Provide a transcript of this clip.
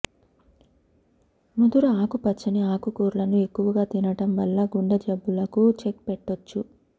ముదురు ఆకుపచ్చని ఆకుకూరలను ఎక్కువగా తినడం వల్ల గుండె జబ్బులకు చెక్ పెట్టొచ్చు